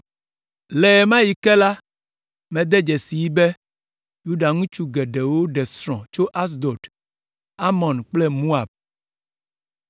Le ɣe ma ɣi ke la, mede dzesii be Yuda ŋutsu geɖewo ɖe srɔ̃ tso Asdod, Amon kple Moab,